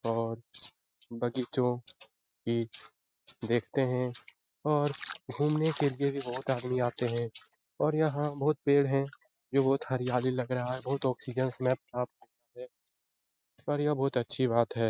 और बगीचों की देखते हैं और घूमने के लिए भी बहुत आदमी आते हैं और यहाँ बहुत पेड़ हैं जो बहुत हरियाली लग रहा है बहुत आक्सिजन मे पर ये बहुत अच्छी बात है।